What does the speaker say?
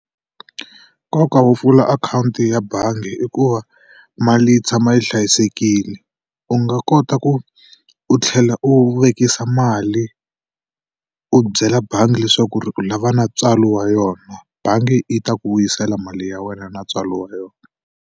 Nkoka wo pfula akhawunti ya bangi i ku va mali yi tshama yi hlayisekile. U nga kota ku u tlhela u vekisa mali, u byela bangi leswaku ri u lava na ntswalo wa yona. Bangi yi ta ku vuyisela mali ya wena na ntswalo wa yona.